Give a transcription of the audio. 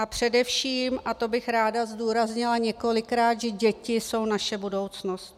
A především, a to bych ráda zdůraznila několikrát, že děti jsou naše budoucnost.